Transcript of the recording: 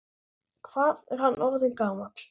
Hvað er hann orðinn gamall?